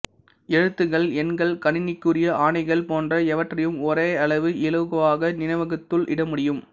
எழுத்துக்கள் எண்கள் கணினிக்குரிய ஆணைகள் போன்ற எவற்றையும் ஒரேயளவு இலகுவாக நினைவகத்துள் இடமுடியும்